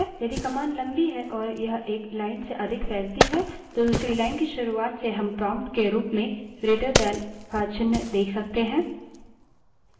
यदि command लम्बी है और यह एक line से अधिक फैलती है तो दूसरी line की शुरूआत से हम prompt के रूप में greater दैन का चिन्ह > देख सकते हैं